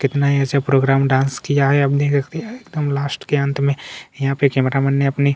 list कितना है programme यहाँ पर डांस किया है एकदम लास्ट के अंत में अपने यहाँ पे कैमरामैन ने अपनी --